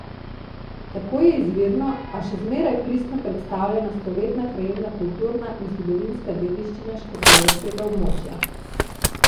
Tako je izvirno, a še zmeraj pristno predstavljena stoletna krajevna kulturna in zgodovinska dediščina škofjeloškega območja.